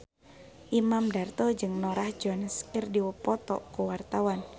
Imam Darto jeung Norah Jones keur dipoto ku wartawan